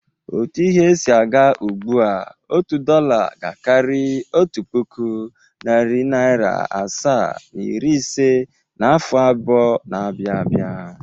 Otu ihe si aga ugbua, otu dọla ga-akarị otu puku, narị naịra asaa na iri ise n’afọ abụọ na-abịa abịa.